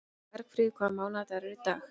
Bergfríður, hvaða mánaðardagur er í dag?